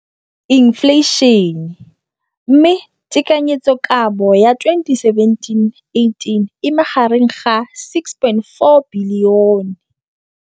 Infleišene, mme tekanyetsokabo ya 2017, 18, e magareng ga R6.4 bilione.